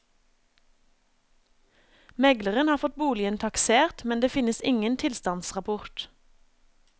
Megleren har fått boligen taksert, men det finnes ingen tilstandsrapport.